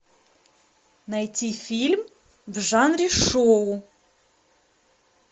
найти фильм в жанре шоу